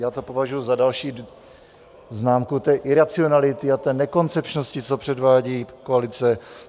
Já to považuji za další známku té iracionality a té nekoncepčnosti, co předvádí koalice.